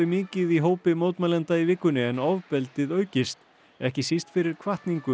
mikið í hópi mótmælenda í vikunni en ofbeldið aukist ekki síst fyrir hvatningu